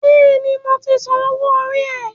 Bẹ́ẹ̀ni, mo ti san owó orí rẹ